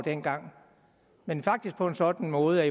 dengang men faktisk på en sådan måde at